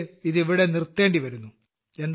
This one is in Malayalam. എനിയ്ക്ക് ഇത് ഇവിടെ നിർത്തേണ്ടിവരുന്നു